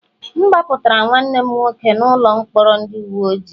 M gbapụtara nwanne m nwoke n'ụlọ mkpọrọ ndị uwe ojii